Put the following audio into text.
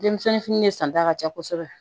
Denmisɛnnin fini ne santa ka ca kosɛbɛ